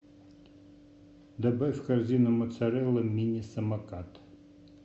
добавь в корзину моцарелла мини самокат